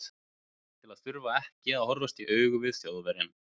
Allt til að þurfa ekki að horfast augu í við Þjóðverjann.